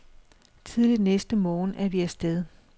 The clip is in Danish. Tidligt næste morgen er vi af sted.